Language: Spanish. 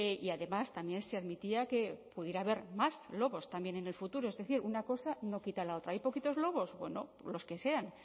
y además también se admitía que pudiera haber más lobos también en el futuro es decir una cosa no quita la otra hay poquitos lobos bueno los que sean